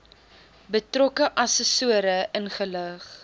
betrokke assessore ingelig